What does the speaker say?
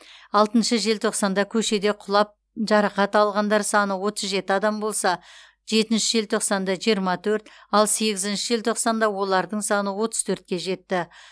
алтыншы желтоқсанда көшеде құлап жарақат алғандар саны отыз жеті адам болса жетінші желтоқсанда жиырма төрт ал сегізінші желтоқсанда олардың саны отыз төртке жетті